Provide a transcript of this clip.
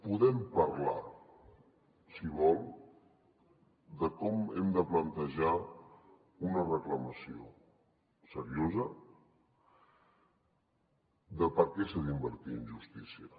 podem parlar si vol de com hem de plantejar una reclamació seriosa de per què s’ha d’invertir en justícia